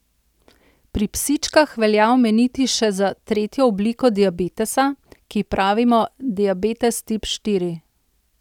Pri psičkah velja omeniti še za tretjo obliko diabetesa, ki ji pravimo diabetes tip štiri.